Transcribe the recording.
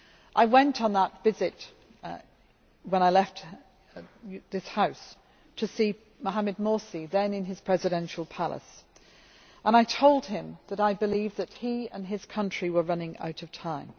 I went on that visit when I left this House to see Mohammed Morsi, then in his Presidential Palace, and I told him that I believed that he and his country were running out of time.